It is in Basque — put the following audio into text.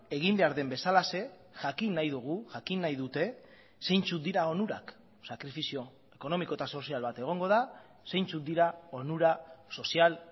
egin behar den bezalaxe jakin nahi dugu jakin nahi dute zeintzuk dira onurak sakrifizio ekonomiko eta sozial bat egongo da zeintzuk dira onura sozial